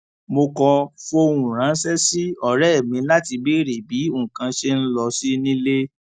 mo kọ fohùn ránṣé sí òré mi láti béèrè bí nnkan ṣe ń lọ sí nílé